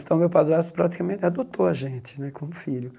Então, meu padrasto praticamente adotou a gente né como filho.